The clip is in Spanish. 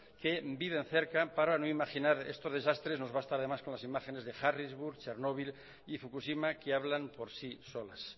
que viven cerca para no imaginar estos desastres nos basta además con las imágenes de harrisburg chernobyl y fukushima que hablan por sí solas